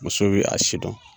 Muso bɛ a si dɔn